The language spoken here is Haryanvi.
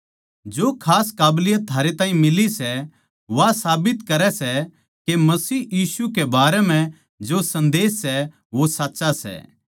जो खास काबलियत थारे ताहीं मिली सै वा साबित करै सै के मसीह यीशु के बारें जो सन्देस सै वो सच्चा सै